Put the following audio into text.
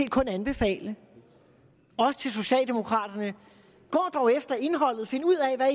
kun anbefale også til socialdemokraterne gå dog efter indholdet find ud af hvad